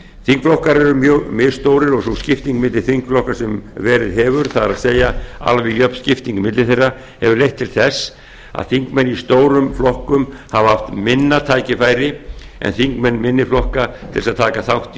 þingflokkar eru mjög misstórir og sú skipting milli þeirra sem verið hefur það er alveg jöfn skipting milli þeirra hefur leitt til þess að þingmenn í stórum flokkum hafa haft minna tækifæri en þingmenn minni flokka til að taka þátt í